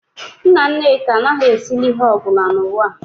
Nna nneka anaghị esili ihe ọ bụla n'ụwa a